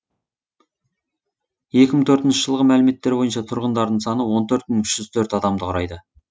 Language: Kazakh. екі мың төртінші жылғы мәліметтер бойынша тұрғындарының саны он төрт мың үш жүз төрт адамды құрайды